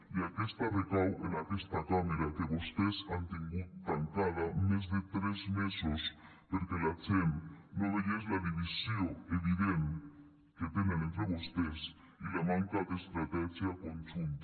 i aquesta recau en aquesta cambra que vostès han tingut tancada més de tres mesos perquè la gent no veiés la divisió evident que tenen entre vostès i la manca d’estratègia conjunta